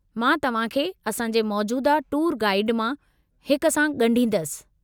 मां तव्हां खे असांजे मौजूदह टूर गाईड मां हिक सां ॻंढींदुसि।